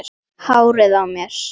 Hárið á mér?